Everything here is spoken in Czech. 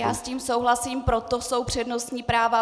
Já s tím souhlasím, proto jsou přednostní práva.